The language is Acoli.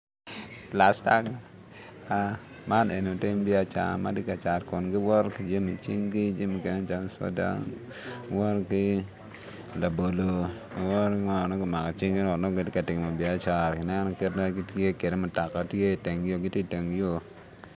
Man lutim biacara ma gitye ka cat Kun giwoto ki jami icinggi jami calo soda, labolo giwoto ki ngo ma nongo kimako icinggi ento nongo gitye ka timo biacara mutoka tye iteng yo gitye iteng yo